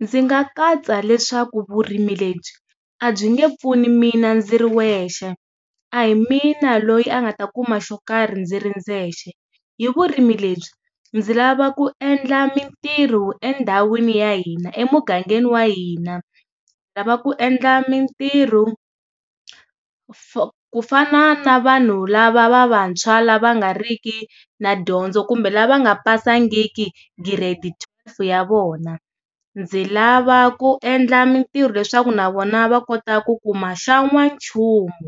Ndzi nga katsa leswaku vurimi lebyi a byi nge pfuni mina ndzi ri wexe a hi mina loyi a nga ta kuma xo karhi ndzi ri ndzexe, hi vurimi lebyi ndzi lava ku endla mintirho endhawini ya hina emugangeni wa hina. Ndzi lava ku endla mintirho ku fa ku fana na na vanhu lava va vantshwa la va nga riki na dyondzo kumbe lava nga pasangiki grade twelve ya vona. Ndzi lava ku endla mintirho leswaku na vona va kota ku kuma xa n'wanchumu